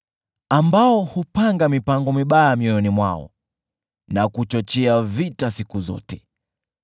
ambao hupanga mipango mibaya mioyoni mwao, na kuchochea vita siku zote.